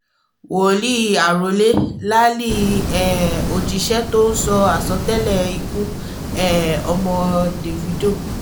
wòlí arọ́lé láálí um òjíṣẹ́ tó sọ àsọtẹ́lẹ̀ ikú um ọmọ davido